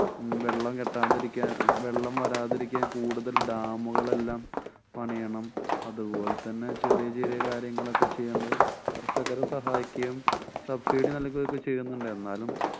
ഉം വെള്ളം കെട്ടാതിരിക്കാന്‍ വെള്ളം വരാതിരിക്കാന്‍ കൂടുതല്‍ dam കളെല്ലാം പണിയണം. അതുപോലെതന്നെ ചെറിയ ചെറിയ കാര്യങ്ങളൊക്കെ ചെയ്യേണ്ടത് കര്‍ഷകരെ സഹായിക്കുകയും subsidy നല്‍കുകയും ഒക്കെ ചെയ്യുന്നുണ്ട്. എന്നാലും